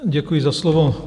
Děkuji za slovo.